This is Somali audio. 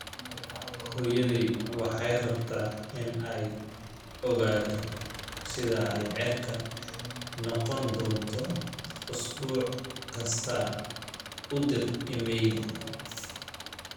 hooyaday waxay rabtaa in ay ogaato sida ay cirka noqon doonto usbuuc kasta u dir iimayl